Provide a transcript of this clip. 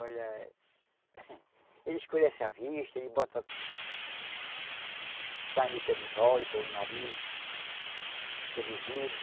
Olha... Ele escurece a vista, ele bota... Sangue pelos olhos, pelo nariz, pelo ouvido.